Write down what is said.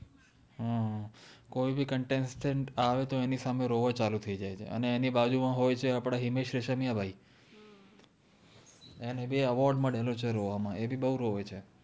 હમ કોઇ ભી contestant આવે તો એનિ સામે રોવા ચાલુ થૈઇ જાએ છે અને એનિ બાજુમા હોઇ છે આપ્દે હિમેશ રેશમિયા ભાઇ એને ભી award મલેલો છે રોવા મા એ ભી બૌ રદે છે